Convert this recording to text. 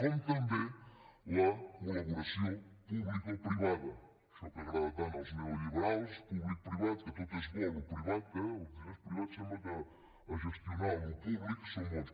com també la col·laboració publicoprivada això que agrada tant als neoliberals publicoprivat que tot és bo el privat eh els diners privats sembla que a gestionar el públic són bons